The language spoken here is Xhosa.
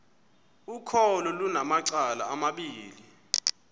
ukholo lunamacala amabini